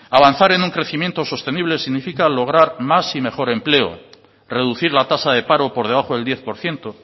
avanzar en un crecimiento sostenible significa lograr más y mejor empleo reducir la tasa de paro por debajo del diez por ciento